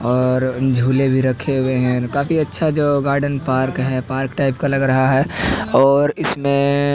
और झूले भी रखे हुए है काफी अच्छा जगह गार्डन पार्क है पार्क टाइप का लग रहा है और इसमें--